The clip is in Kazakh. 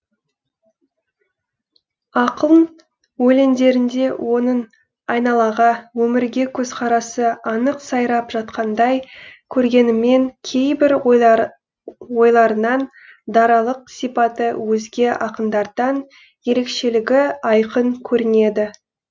ақын өлеңдерінде оның айналаға өмірге көзқарасы анық сайрап жатқандай көрінгенімен кейбір ойларынан даралық сипаты өзге ақындардан ерекшелігі айқын көрінеді